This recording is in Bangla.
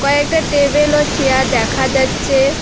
আরেকটা টেবিল ও চেয়ার দেখা যাচ্ছে।